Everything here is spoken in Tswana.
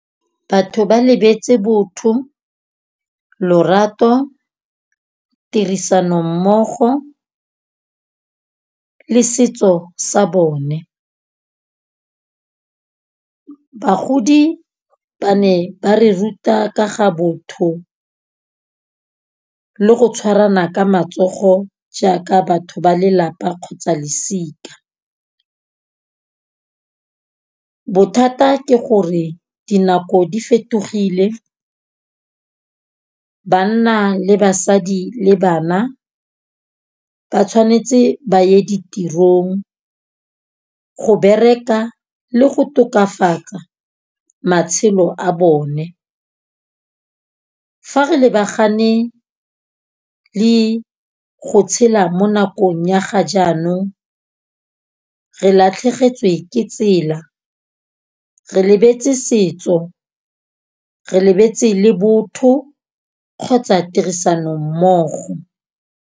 Batho ba lebetse botho, lorato, tirisanommogo le setso sa bone. Bagodi ba ne ba re ruta ka ga botho le go tshwarana ka matsogo, jaaka batho ba lelapa kgotsa losika. Bothata ke gore dinako di fetogile. Banna le basadi le bana ba tshwanetse ba ye ditirong go bereka le go tokafatsa matshelo a bone. Fa re lebagane le go tshela mo nakong ya ga jaanong re latlhegetswe ke tsela. Re lebetse setso re lebetse le botho kgotsa tirisanommogo.